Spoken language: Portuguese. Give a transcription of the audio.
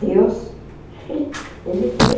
Deus, Ele foi...